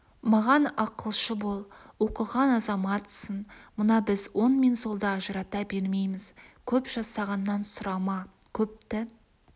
маған ақылшы бол оқыған азаматсың мына біз оң мен солды ажырата бермейміз көп жасағаннан сұрама көпті